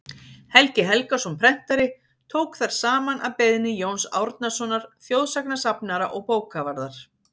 helgi helgason prentari tók þær saman að beiðni jóns árnasonar þjóðsagnasafnara og bókavarðar